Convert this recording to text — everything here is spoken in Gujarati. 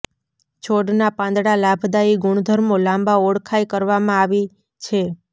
છોડના પાંદડા લાભદાયી ગુણધર્મો લાંબા ઓળખાય કરવામાં આવી છે